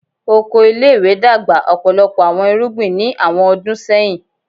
Oko ile-iwe dagba ọpọlọpọ awọn irugbin ni awọn ọdun sẹhin